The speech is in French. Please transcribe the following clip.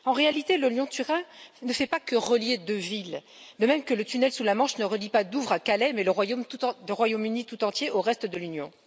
En réalité le Lyon Turin ne fait pas que relier deux villes, de même que le tunnel sous la Manche ne relie pas Douvres à Calais, mais le Royaume Uni tout entier au reste de l'Union.